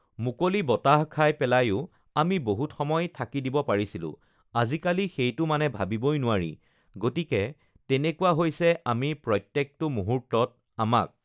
মুকলি বতাহ খাই পেলায়ো আমি বহুত সময় থাকি দিব পাৰিছিলোঁ, আজিকালি সেইটো মানে ভাৱিবই নোৱাৰি গতিকে তেনেকুৱা হৈছে আমি প্ৰত্যেকটো মুহূৰ্তত আমাক